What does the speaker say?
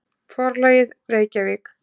Forlagið: Reykjavík.